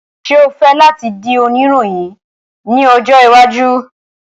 Ṣe o fẹ lati di onirohin ni ojo iwaju?